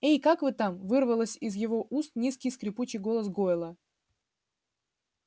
эй как вы там вырвалось из его уст низкий скрипучий голос гойла